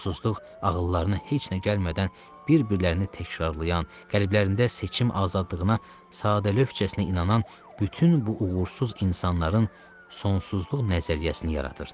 Yuxusuzluq ağıllarına heç nə gəlmədən bir-birlərini təkrarlayan, qəlblərində seçim azadlığına sadə lövhəcəsinə inanan bütün bu uğursuz insanların sonsuzluq nəzəriyyəsini yaradırdı.